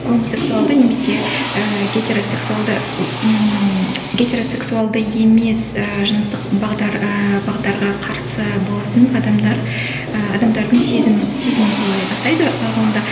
гомосексуалды немесе ііі гетеросексуалды ммм гетеросексуалды емес ііі жыныстық бағдар ыыы бағдарға қарсы болатын адамдар ы адамдардың сезімі сезімін солай атайды і ғылымда